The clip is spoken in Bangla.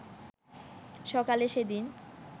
সকালে সেদিন